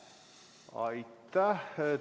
Aitäh!